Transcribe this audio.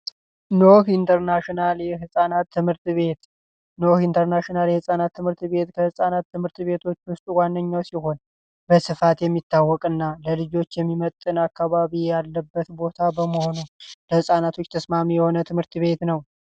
ኖህ ኢንተርናሽናል የፃናት ትምህርት ቤት ኖህ ኢንተርናሽናል የፃናት ትምህርት ቤት ከፃናት ትምህርት ቤቶች ውስጥ አንደኛው ሲሆን በስፋት የሚመጥንና ለልጆች የሚመጥን ቦታ ያለበት በመሆኑ ነው ለህፃናቶች ተስማሚ የሆነ ትምህርት ቤት ነው።